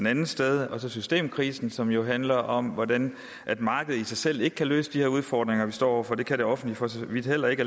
andens sted og så systemkrisen som jo handler om hvordan markedet i sig selv ikke kan løse de her udfordringer vi står over for og det kan det offentlige for så vidt heller ikke